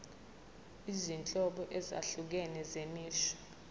izinhlobo ezahlukene zemisho